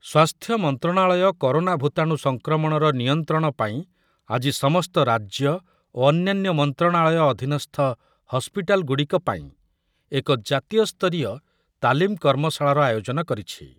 ସ୍ୱାସ୍ଥ୍ୟ ମନ୍ତ୍ରଣାଳୟ କରୋନା ଭୂତାଣୁ ସଂକ୍ରମଣର ନିୟନ୍ତ୍ରଣ ପାଇଁ ଆଜି ସମସ୍ତ ରାଜ୍ୟ ଓ ଅନ୍ୟାନ୍ୟ ମନ୍ତ୍ରଣାଳୟ ଅଧୀନସ୍ଥ ହସ୍ପିଟାଲ୍‌ଗୁଡ଼ିକ ପାଇଁ ଏକ ଜାତୀୟସ୍ତରୀୟ ତାଲିମ୍ କର୍ମଶାଳାର ଆୟୋଜନ କରିଛି